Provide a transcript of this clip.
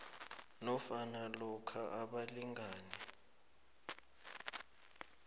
nofana lokha abalingani